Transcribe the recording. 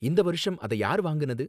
இந்த வருஷம் அத யாரு வாங்குனது?